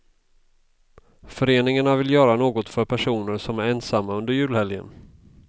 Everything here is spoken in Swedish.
Föreningarna vill göra något för personer som är ensamma under julhelgen.